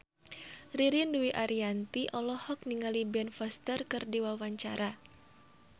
Ririn Dwi Ariyanti olohok ningali Ben Foster keur diwawancara